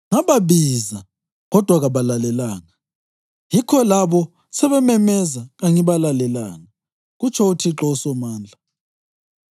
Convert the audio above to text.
‘Ngababiza, kodwa kabalalelanga; yikho labo sebememeza kangibalalelanga,’ kutsho uThixo uSomandla.